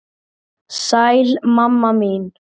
Sæl, mamma mín.